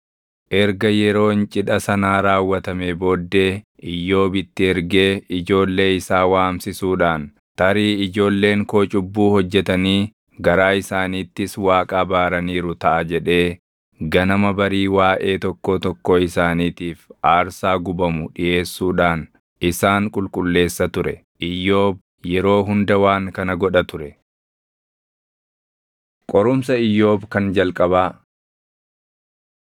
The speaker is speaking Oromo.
Erga yeroon cidha sanaa raawwatamee booddee Iyyoob itti ergee ijoollee isaa waamsisuudhaan, “Tarii ijoolleen koo cubbuu hojjetanii garaa isaaniittis Waaqa abaaraniiru taʼa” jedhee ganama barii waaʼee tokkoo tokkoo isaaniitiif aarsaa gubamu dhiʼeessuudhaan isaan qulqulleessa ture. Iyyoob yeroo hunda waan kana godha ture. Qorumsa Iyyoob Kan Jalqabaa